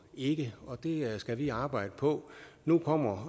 ikke og det skal vi arbejde på nu kommer